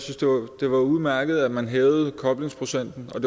det var udmærket at man hævede koblingsprocenten og